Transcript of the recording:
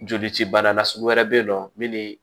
Joli ci bana lasugu wɛrɛ be yen nɔ min bee